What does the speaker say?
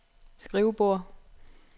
skrivebord